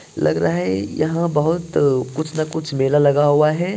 लग रहा है यहाँ बहोत कुछ न कुछ मेला लगा हुआ है।